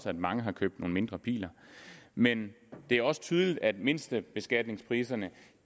at mange har købt nogle mindre biler men det er også tydeligt at mindstebeskatningspriserne